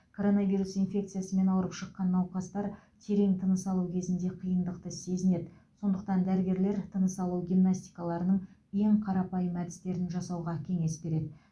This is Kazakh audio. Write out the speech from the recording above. коронавирус инфекциясымен ауырып шыққан науқастар терең тыныс алу кезінде қиындықты сезінеді сондықтан дәрігерлер тыныс алу гимнастикаларының ең қарапайым әдістерін жасауға кеңес береді